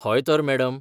हय, तर, मॅडम.